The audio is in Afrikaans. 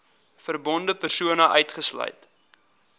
verbonde persone uitgesluit